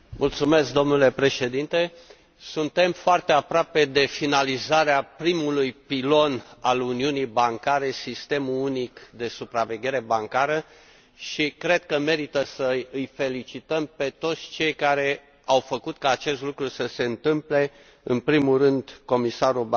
Suntem foarte aproape de finalizarea primului pilon al uniunii bancare, sistemul unic de supraveghere bancară, și cred că merită să îi felicităm pe toți cei care au făcut ca acest lucru să se întâmple, în primul rând comisarul Barnier, raportorii și